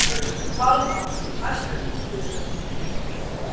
Valva, læstu útidyrunum.